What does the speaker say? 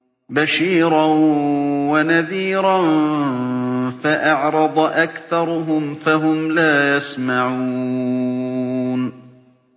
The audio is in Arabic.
بَشِيرًا وَنَذِيرًا فَأَعْرَضَ أَكْثَرُهُمْ فَهُمْ لَا يَسْمَعُونَ